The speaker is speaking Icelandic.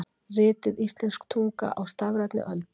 Ritið Íslensk tunga á stafrænni öld.